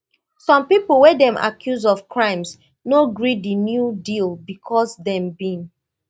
some pipo wey dem accuse of crimes no gree di new deal bicos dem bin